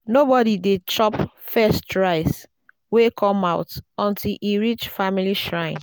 nobody dey chop first rice wey come out until e reach family shrine.